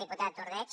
diputat ordeig